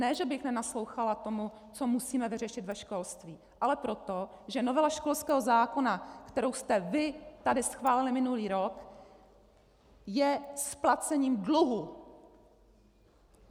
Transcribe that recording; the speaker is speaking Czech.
Ne že bych nenaslouchala tomu, co musíme vyřešit ve školství, ale proto, že novela školského zákona, kterou jste vy tady schválili minulý rok, je splacením dluhu.